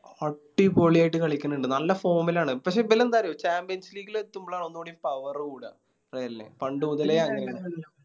അടി പൊളിയായിട്ട് കളിക്കണിണ്ട് നല്ല Form ആണ് പക്ഷെ ഇവലെന്ത അറിയോ Champions league ൽ എത്തുമ്പളാണ് ഒന്നുകൂടിയും Power കൂടാ പണ്ട് മുതലേ